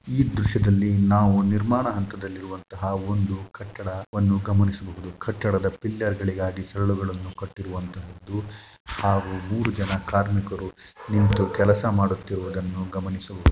ಈ ದೃಶ್ಯದಲ್ಲಿ ನಾವು ನಿರ್ಮಾಣದ ಹಂತದಲ್ಲಿರುವ ಒಂದು ಕಟ್ಟಡವನ್ನು ಗಮನಿಸಬಹುದು. ಕಟ್ಟಡದ ಪಿಲ್ಲರ್‌ ಗಳಿಗಾಗಿ ಸರಳುಗಳನ್ನು ಕಟ್ಟಿರುವಂತಹುದು ಹಾಗೂ ಮೂರು ಜನ ಕಾರ್ಮಿಕರು ನಿಂತು ಕೆಲಸ ಮಾಡುತ್ತಿರುವುದನ್ನು ಗಮನಿಸಬಹುದು.